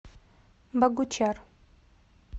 богучар